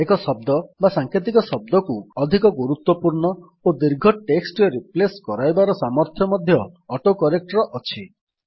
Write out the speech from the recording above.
ଏକ ଶବ୍ଦ ବା ସାଂକେତିକ ଶବ୍ଦକୁ ଅଧିକ ଗୁରୁତ୍ୱପୂର୍ଣ୍ଣ ଓ ଦୀର୍ଘ ଟେକ୍ସଟ୍ ରେ ରିପ୍ଲେସ୍ କରାଇବାର ସାମର୍ଥ୍ୟ ମଧ୍ୟ ଅଟୋକରେକ୍ଟ୍ ର ଅଛି